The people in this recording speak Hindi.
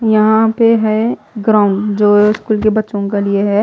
यहां पे है ग्राउंड जो स्कूल के बच्चों के लिए है।